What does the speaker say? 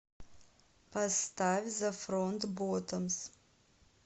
поставь зэ фронт боттомс